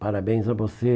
Parabéns a você.